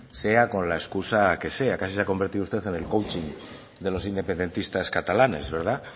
sea con la excusa que sea casi se ha convertido usted en el coaching de los independentistas catalanes verdad